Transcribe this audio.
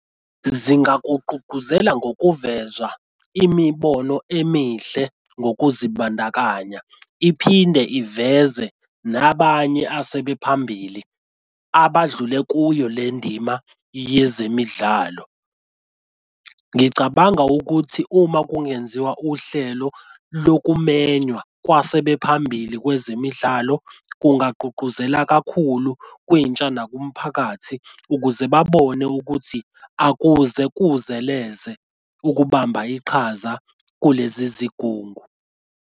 Zingakugqugquzela ngokuveza imibono emihle ngokuzibandakanya, iphinde iveze nabanye asebephambili abadlule kuyo le ndima yezemidlalo. Ngicabanga ukuthi uma kungenziwa uhlelo lokumenywa kwasebephambili kwezemidlalo, kungabagqugquzela kakhulu kwintsha nakumphakathi ukuze babone ukuthi akuze kuzeleze ukubamba iqhaza kulezi zigungu.